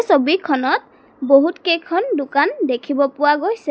ছবিখনত বহুতকেইখন দোকান দেখিব পোৱা গৈছে।